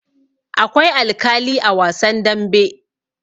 Akwai alkali a wasan dambe.